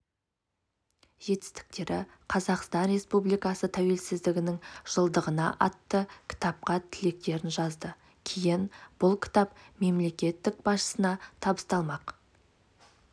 жетістіктері қазақстан республикасы тәуелсіздігінің жылдығына атты кітапқа тілектерін жазды кейін бұл кітап мемлекет басшысына табысталмақ